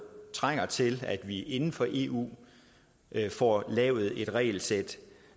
trænger til at vi inden for eu får lavet et regelsæt